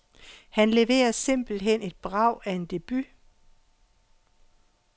Han leverer simpelthen et brag af en debut.